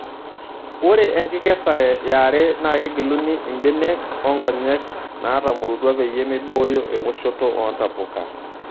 Ore enkikesare yare naa kegiluni imbenek onkonyek natamorutua peyie meiboyo ewoshoto oontapuka.